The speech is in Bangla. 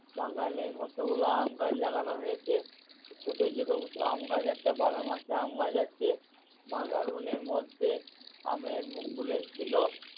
বাগানে কতগুলো আম গাছ লাগানো হয়েছে। ছোটো ছোটো আম গাছ একটা বারো মাসে আম গাছ আছে বাগানের মধ্যে আমের মুকুল এসছিল